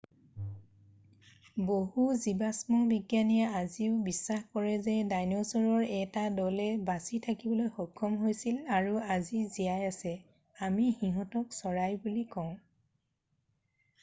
বহু জিবাষ্ম বিজ্ঞানীয়ে আজিও বিশ্বাস কৰে যে ডাইনছৰৰ 1 টা দলে বাচি থাকিবলৈ সক্ষম হৈছিল আৰু আজি জীয়াই আছে আমি সিহঁতক চৰাই বুলি কওঁ